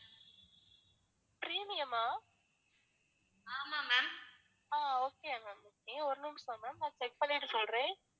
அஹ் okay ma'am okay ஒரு நிமிஷம் ma'am நான் check பண்ணிட்டு சொல்றேன்